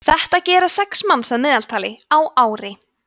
þetta gera sex manns að meðaltali á ári